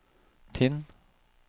Tinn